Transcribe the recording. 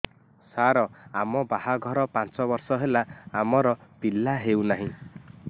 ସାର ଆମ ବାହା ଘର ପାଞ୍ଚ ବର୍ଷ ହେଲା ଆମର ପିଲା ହେଉନାହିଁ